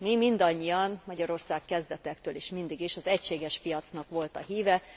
Mi mindannyian, Magyarország a kezdetektől is, mindig is az egységes piacnak volt a híve.